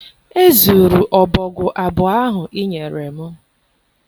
Ezuru ọbọgwụ abụọ ahụ ị nyere m.